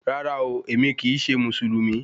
Rárá ooo, èmi kì í ṣe Mùsùlùmí